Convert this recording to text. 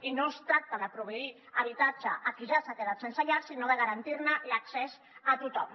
i no es tracta de proveir habitatge a qui ja s’ha quedat sense llar sinó de garantir ne l’accés a tothom